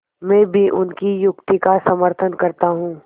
मैं भी उनकी युक्ति का समर्थन करता हूँ